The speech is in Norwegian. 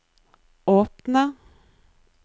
åpne